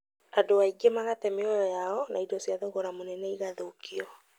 Andũ aingĩ magate mĩoyo yao na indo cia thogora mũnene igathũkio